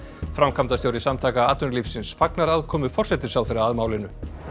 framkvæmdastjóri Samtaka atvinnulífsins fagnar aðkomu forsætisráðherra að málinu